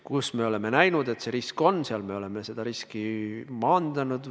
Kus me oleme näinud, et risk on, seal me oleme seda riski maandanud.